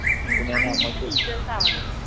ആ അങ്ങനത്തെ teachers ആവണം